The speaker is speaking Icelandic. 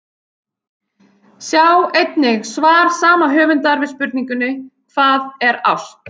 Sjá einnig svar sama höfundar við spurningunni Hvað er ást?